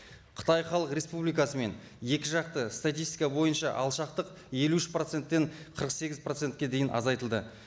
қытай халық республикасымен екі жақты статистика бойынша алшақтық елу үш проценттен қырық сегіз процентке дейін азайтылды